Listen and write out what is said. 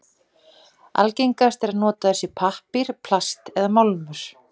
Algengast er að notað sé pappír, plast eða málmur.